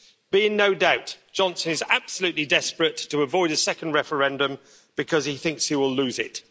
Be in no doubt Johnson is absolutely desperate to avoid a second referendum, because he thinks he will lose it.